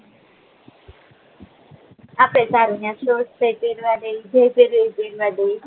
આપડે સારુ ત્યાં શોર્ટ્સ તો પેરવા દે છે જે પેરવું એ પેરવા ડે છે